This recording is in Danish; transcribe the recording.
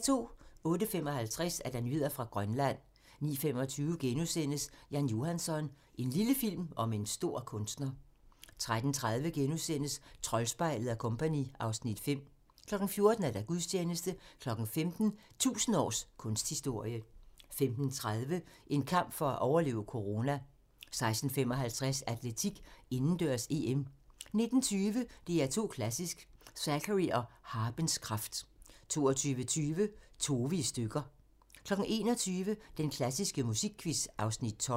08:55: Nyheder fra Grønland 09:25: Jan Johansson - en lille film om en stor kunstner * 13:30: Troldspejlet & Co. (Afs. 5)* 14:00: Gudstjeneste 15:00: 1000 års kunsthistorie 15:30: En kamp for at overleve corona 16:55: Atletik: Indendørs-EM 19:20: DR2 Klassisk: Zachary og harpens kraft 20:20: Tove i stykker 21:00: Den klassiske musikquiz (Afs. 12)